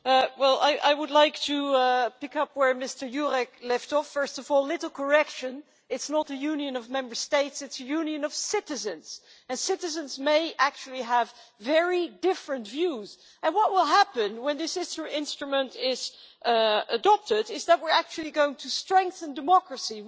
Madam President, I would like to pick up where Mr Jurek left off. First of all, a little correction it is not a union of Member States, it is a union of citizens and citizens may actually have very different views. What will happen when this instrument is adopted, is that we are actually going to strengthen democracy.